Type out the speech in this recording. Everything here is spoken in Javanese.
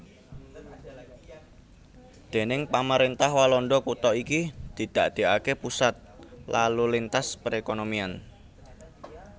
Déning pamaréntah Walanda kutha iki didadèkaké pusat lalu lintas perékonomian